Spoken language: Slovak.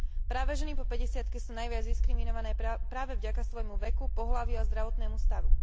Práve ženy po päťdesiatke sú najviac diskriminované práve vďaka svojmu veku, pohlaviu a zdravotnému stavu.